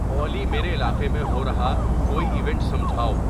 اولی میرے علاقے میں ہو رہا کوئی ایونٹ سجھاؤ